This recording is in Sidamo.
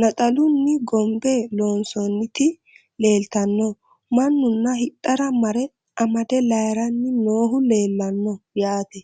naxalunni gonbbe loonsoonnitti leelittanno manunna hidhara mare amade layiiranni noohu leelanno yaatte